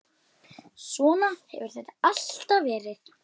Svona hefur þetta alltaf verið.